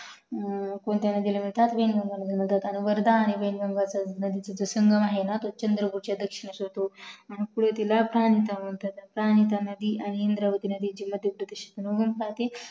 वर्धा आणि वैनगंगा जो संगम आहे ना च्या दक्षिणेस होतो इंद्रावती नदी तृंबकेश्वरमध्ये उगम पावते